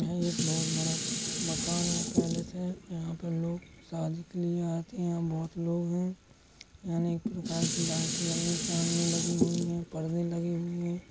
यह एक बोहोत बड़ा मकान या पैलेस है। यहाँ पर लोग शादी के लिए आते हैं बोहोत लोग हैं। यहाँ अनेक प्रकार की लाइट जल रई चाँदनी लगी हुई है पर्दे लगे हुए हैं।